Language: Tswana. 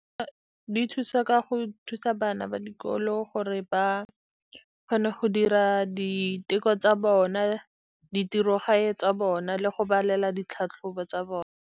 Di thusa ka go thusa bana ba dikolo gore ba kgone go dira diteko tsa bona, ditirogae tsa bona, le go balela ditlhatlhobo tsa bone.